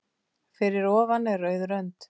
Fyrir ofan er rauð rönd.